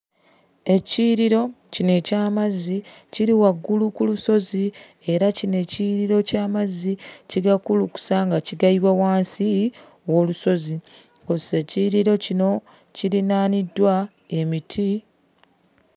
Ekiyiriro kino eky'amazzi kiri waggulu ku lusozi era kino ekiyiriro ky'amazzi kigakulukusa nga kigayiwa wansi w'olusozi. Kw'ossa ekiyiriro kino kirinaaniddwa emiti.